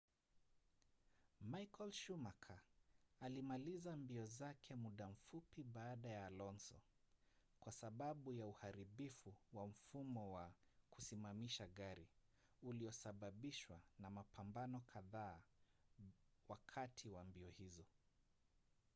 michael schumacher alimaliza mbio zake muda mfupi baada ya alonso kwa sababu ya uharibifu wa mfumo wa kusimamisha gari uliosababishwa na mapambano kadhaa wakati wa mbio hizo